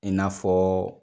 I n'a fɔɔ